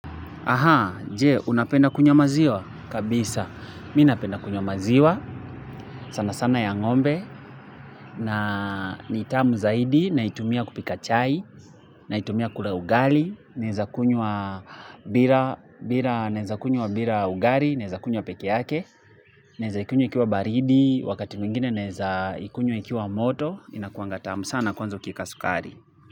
Aha, jee, unapenda kunywa maziwa? Kabisa, minapenda kunywa maziwa, sana sana ya ng'ombe, na nitamu zaidi, naitumia kupika chai, naitumia kula ugali, naeza kunywa bira, naeza kunywa bira ugari, naeza kunywa peke yake, naeza ikunywa ikiwa baridi, wakati mwingine naeza ikunywa ikiwa moto, inakuanga tam sana kwanza ukieka sukari.